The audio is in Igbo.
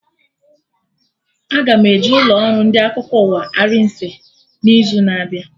Aga m eje ụlọ ọrụ ndị akụkọ ụwa Arise n'izu na-abịa